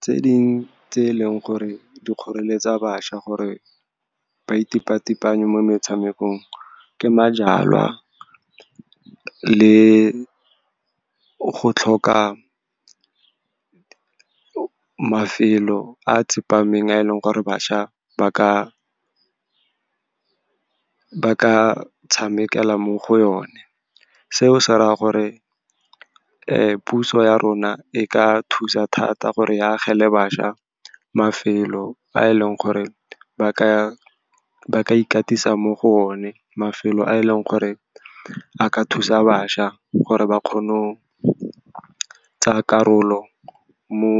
Tse ding tse e leng gore di kgoreletsa bašwa gore ba itepatepanye mo metshamekong ke majalwa le go tlhoka mafelo a tsepameng, a e leng gore bašwa ba ka tshamekela mo go o ne. Seo se raya gore puso ya rona e ka thusa thata gore e agele bašwa mafelo, fa e leng gore ba ka ikatisa mo go o ne, mafelo a e leng gore a ka thusa bašwa gore ba kgone go tsaya karolo mo